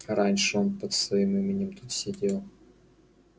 раньше он под своим именем тут сидел